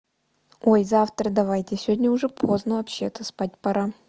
ой завтра давайте сегодня уже поздно вообще-то спать пора